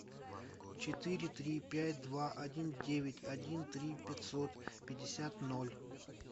четыре три пять два один девять один три пятьсот пятьдесят ноль